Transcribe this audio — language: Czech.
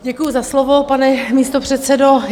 Děkuju za slovo, pane místopředsedo.